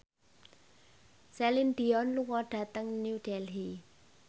Celine Dion lunga dhateng New Delhi